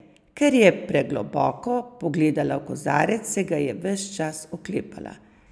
Ker je pregloboko pogledala v kozarec, se ga je ves čas oklepala.